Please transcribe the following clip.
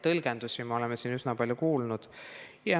Tõlgendusi oleme siin kuulnud üsna palju.